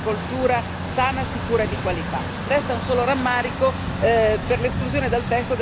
Resta un solo rammarico per l'esclusione dal testo della questione della responsabilità finanziaria